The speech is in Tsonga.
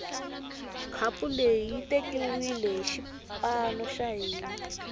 khapu leyi yi tekiwile hi xipano xa hina